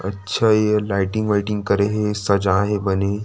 अच्छा ये हे लाइटिंग वाइटिंग करे हे सजाय हे बने --